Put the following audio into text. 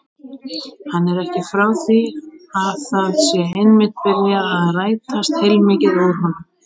Hann er ekki frá því að það sé einmitt byrjað að rætast heilmikið úr honum.